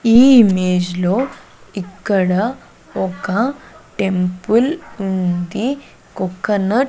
ఈ ఇమేజ్ లో ఇక్కడ ఒక టెంపుల్ ఉంది కొకొనట్ --